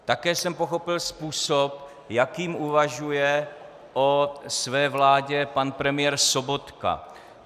Také jsem pochopil způsob, jakým uvažuje o své vládě pan premiér Sobotka.